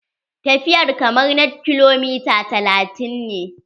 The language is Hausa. Tafiyar kamar na kilomita talatin ne